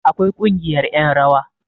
akwai Kungiyar yan rawa